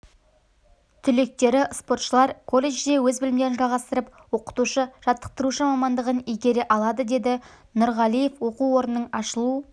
түлектері спортшылар колледжде өз білімдерін жалғастырып оқытушы-жатықтырушы мамандығын игере алады деді нұрғалиев оқу орнының ашылу